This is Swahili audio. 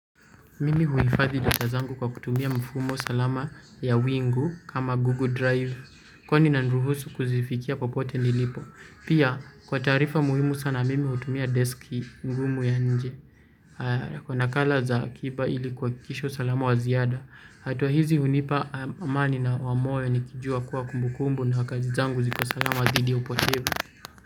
Mimi huhifadhi data zangu kwa kutumia mfumo salama ya wingu kama Google Drive. Kwani inaniruhusu kuzifikia popote nilipo. Pia, kwa taarifa muhimu sana mimi hutumia deski ngumu ya nje. Kwa nakala za akiba ili kuhakikisha usalama wa ziada. Hatua hizi hunipa amani na wamoyo nikijua kuwa kumbukumbu na kazi zangu zikos alama dhidi ya upotevu.